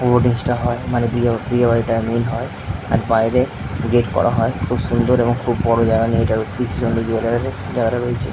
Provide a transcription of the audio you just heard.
টা হয় মানে বিয়ে প্যান্ডেল হয় আর বাইরে গেট করা হয় খুব সুন্দর এবং খুব বড় জায়গা নিয়ে এটা জায়গাটা রয়েছে।